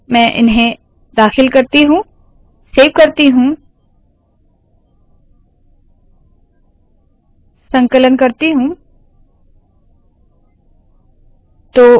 मैं इन्हें दाखिल करती हूँ सेव करती हूँ और संकलन करती हूँ